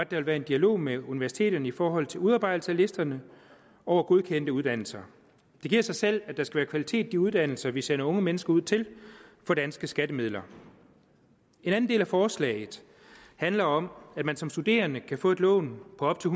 vil være en dialog med universiteterne i forhold til udarbejdelse af listerne over godkendte uddannelser det giver sig selv at der skal være kvalitet i de uddannelser vi sender unge mennesker ud til for danske skattemidler en anden del af forslaget handler om at man som studerende kan få et lån på op til